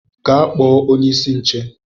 Gaa kpọ onye-isi nche.!